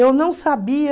Eu não sabia...